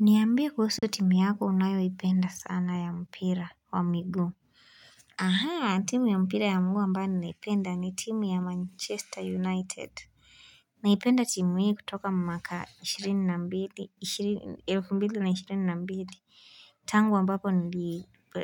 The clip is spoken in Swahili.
Niambie kuhusu timu yako unayoipenda sana ya mpira wa miguu. Timu ya mpira ya ambayo huwa ninaipenda ni timu ya Manchester United. Naipenda timu hii kutoka mwaka 2022. Tangu ambapo